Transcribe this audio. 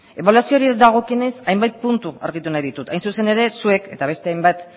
ebaluazioei dagokionez hainbat puntu argitu nahi ditut hain zuzen ere zuek eta beste hainbat